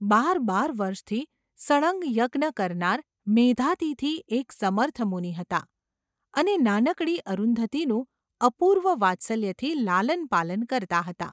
બાર બાર વર્ષથી સળંગ યજ્ઞ કરના મેધાતિથિ એક સમર્થ મુનિ હતા, અને નાનકડી અરુંધતીનું અપૂર્વ વાત્સલ્યથી લાલન પાલન કરતા હતા.